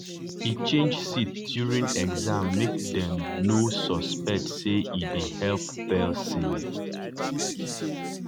e change seat during exam make dem dem no suspect say e dey help person.